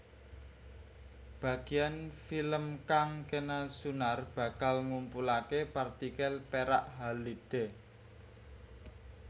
Bageyan film kang kena sunar bakal ngumpulake partikel perak halide